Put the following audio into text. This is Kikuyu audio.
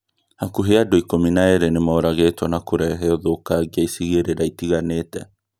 hakuhĩ andũ ikũmi na erĩ nimoragĩtwo na kũrehe ũthũkangia icigĩrĩra itiganĩte